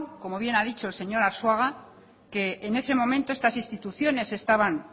como bien ha dicho el señor arzuaga que en ese momento estas instituciones estaban